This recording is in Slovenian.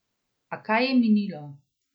A kaj je minilo?